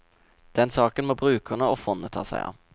Den saken må brukerne og fondet ta seg av.